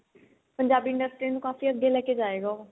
Punjabi industry ਨੂੰ ਕਾਫੀ ਅੱਗੇ ਲੈਕੇ ਜਾਏਗਾ ਉਹ